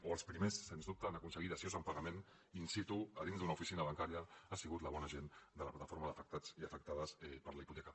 o els primers sens dubte en aconseguir dacions en pagament in situna bancària ha sigut la bona gent de la plataforma d’afectats i afectades per la hipoteca